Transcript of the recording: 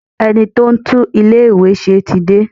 Ẹni tí ó ń tún ilé ìwé ṣe tí dé.